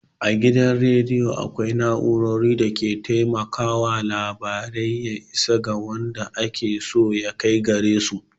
A gidan rediyo akwai na'urorin da ke taimakawa labarai ya isa ga waɗanda ake so ya kai gare su.